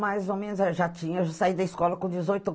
Mais ou menos eu já tinha, eu já saí da escola com dezoito